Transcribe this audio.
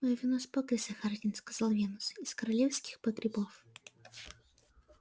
моё вино с покриса хардин сказал венус из королевских погребов